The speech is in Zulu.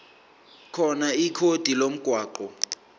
khona ikhodi lomgwaqo